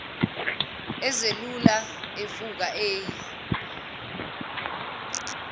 ezelula evuka eyi